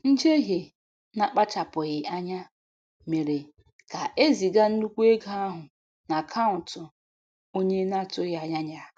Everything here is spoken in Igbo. Njehie na-akpachapụghị anya mere ka eziga nnukwu ego ahụ n'akaụntụ onye na-atụghị anya ya.